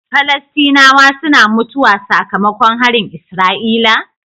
Falastinawa suna mutuwa saka makon harin isra'ila?